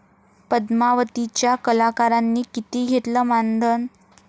पद्मावती'च्या कलाकारांनी किती घेतलं मानधन?